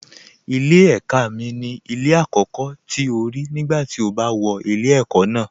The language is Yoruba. Ilé ẹ̀ka mi ni ilé àkọ́kọ́ tí o rí nígbà tí o bá wọ ilé ẹ̀kọ́ ná